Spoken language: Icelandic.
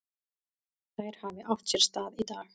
Þær hafi átt sér stað í dag.